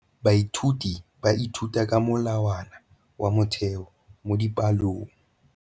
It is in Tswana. Baithuti ba ithuta ka molawana wa motheo mo dipalong.